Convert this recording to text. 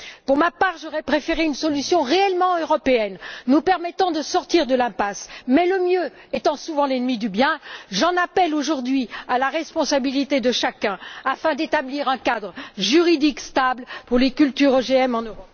Pour ma part, j'aurais préféré une solution réellement européenne nous permettant de sortir de l'impasse, mais le mieux étant souvent l'ennemi du bien, j'en appelle aujourd'hui à la responsabilité de chacun afin d'établir un cadre juridique stable pour les cultures OGM en Europe.